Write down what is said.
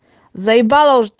з